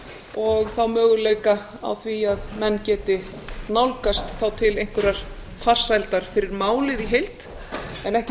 og þá möguleika á því að menn geti nálgast til einhverrar farsældar fyrir málið í heild en ekki